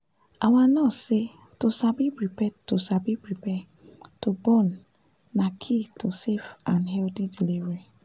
our nurse say to sabi prepare to sabi prepare to born na key to safe and healthy delivery